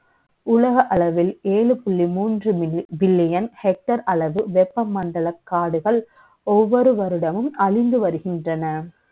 உலக அளவில் ஏழு புள்ளி மூன்று பில்லியன் hectare அளவு வெ ப்பமண்டல காடுகள், ஒவ்வ ொரு வருடமும் அழிஞ்சு வருகின்றன